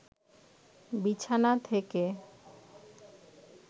বিছানা থেকে